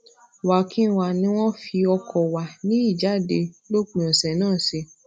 wakinwa ni wón fi oko wa ni ijade lópin òsè naa se